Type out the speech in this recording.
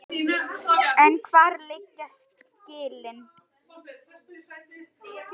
En hvar liggja skilin?